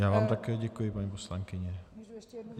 Já vám také děkuji, paní poslankyně.